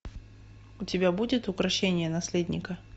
у тебя будет укрощение наследника